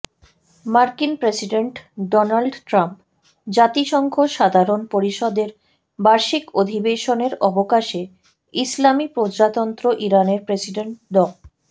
মার্কিন president Donald Trump জাতিসংঘ সাধারণ পরিষদের বার্ষিক অধিবেশনের অবকাশে ইসলামি প্রজাতন্ত্র ইরানের প্রেসিডেন্ট ড